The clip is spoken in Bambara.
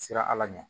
Sera ala ɲɛ ma